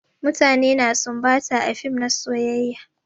Mutane na sumbata a fim na soyayya.